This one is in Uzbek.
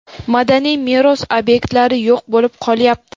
madaniy meros ob’ektlari yo‘q bo‘lib qolyapti.